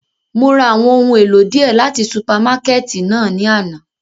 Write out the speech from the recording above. Mo ra awọn ohun elo diẹ lati supamakẹti náa ni ana.